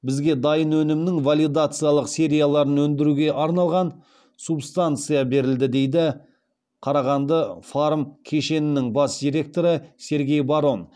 бізге дайын өнімнің валидациялық серияларын өңдіруге арналған субстанция берілді дейді қарағанды фарм кешенінің бас директоры сергей барон